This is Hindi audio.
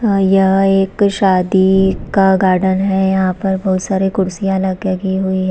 यह एक शादी का गार्डन है यहाँ पर बहुत सारी कुर्सियां लगी हुई है।